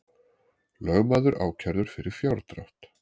Lögmaður ákærður fyrir fjárdrátt